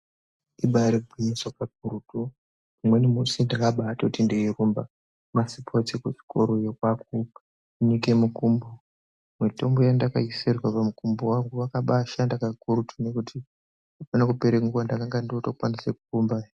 Ibari gwinyiso kakurutu umweni musi ndakabaatoti ndeirumba masiPotsi kuchikora yo kwakunika mukumbo mutombo wandakabaaisirwa pamukumbo wangu wakabaa shanda kakurutu nekuti apane kupere nguwa ndakange ndotokwanise kurumbahe.